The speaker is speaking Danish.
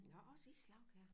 Nå også islagkager